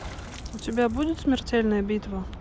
у тебя будет смертельная битва